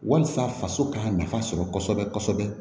Walasa faso ka nafa sɔrɔ kosɛbɛ kosɛbɛ